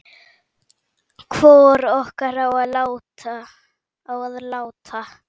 Hvor okkar á að láta